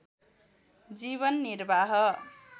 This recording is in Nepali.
जीवन निर्वाह